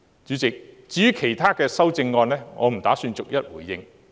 主席，至於其他修正案，我不打算逐一回應。